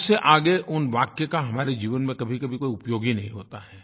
उससे आगे उन वाक्य का हमारे जीवन में कभीकभी कोई उपयोग ही नहीं होता है